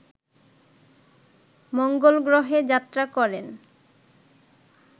মঙ্গল গ্রহে যাত্রা করেন